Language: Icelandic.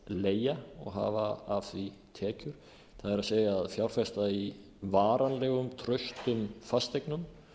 leigja og hafa af því tekjur það er að fjárfesta í varanlegum traustum fasteignum